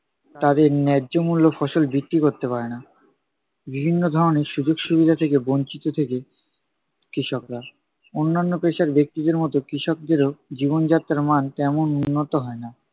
তাদের ন্যায্য মূল্য ফসল বিক্রি করতে পারে না। বিভিন্ন ধরনের সুযোগ সুবিধা থেকে বঞ্চিত থাকে কৃষকরা। অন্যান্য পেশার ব্যক্তিদের মতো কৃষকদের জীবনযাত্রার মান তেমন উন্নত হয় না।